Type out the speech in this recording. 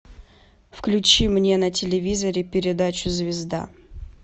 включи мне на телевизоре передачу звезда